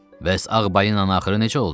Bəs ağ balinanın axırı necə oldu?